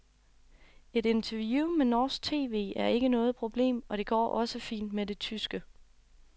Et interview med norsk tv er ikke noget problem, og det går også fint med det tyske.